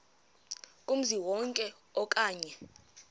kumzi wonke okanye